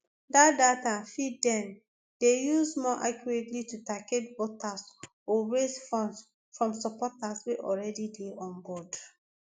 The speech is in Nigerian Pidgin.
dat data fit den dey used more accurately to target voters or or raise funds from supporters wey already dey onboard